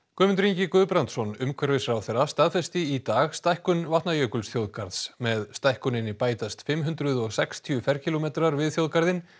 Guðmundur Ingi Guðbrandsson umhverfisráðherra staðfesti í dag stækkun Vatnajökulsþjóðgarðs með stækkuninni bætast fimm hundruð og sextíu ferkílómetrar við þjóðgarðinn